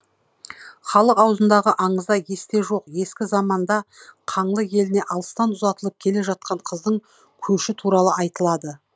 халық аузындағы аңызда есте жоқ ескі заманда қаңлы еліне алыстан ұзатылып келе жатқан қыздың көші туралы айтылады